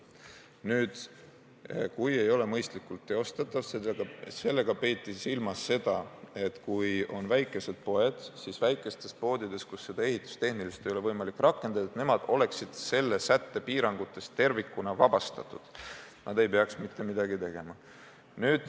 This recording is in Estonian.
Nüüd, "kui ei ole mõistlikult teostatav" – sellega peeti silmas seda, et kui on väikesed poed, kus seda ehitustehniliselt ei ole võimalik rakendada, siis nemad oleksid selle sätte piirangutest tervikuna vabastatud, st nad ei peaks mitte midagi tegema.